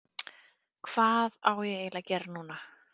Hvað á ég eiginlega að gera núna???